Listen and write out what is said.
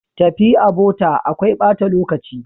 Tafi a bota akwai bata lokaci.